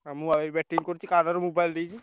ଆଉ ମୁଁ ବା batting କରୁଛି କାନ ରେ mobile ଦେଇଛି।